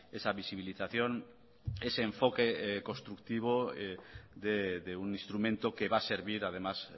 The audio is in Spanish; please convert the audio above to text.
esa visibilización ese enfoque constructivo de un instrumento que va a servir además